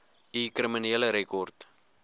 u kriminele rekord